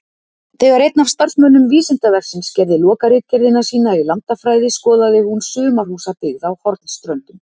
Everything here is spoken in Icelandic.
Þegar einn af starfsmönnum Vísindavefsins gerði lokaritgerðina sína í landafræði skoðaði hún sumarhúsabyggð á Hornströndum.